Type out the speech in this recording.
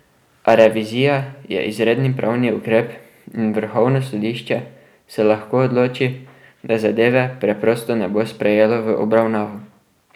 A revizija je izredni pravni ukrep in vrhovno sodišče se lahko odloči, da zadeve preprosto ne bo sprejelo v obravnavo.